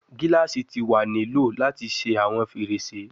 Gilasi ti wa ni lo lati ṣe awọn ferese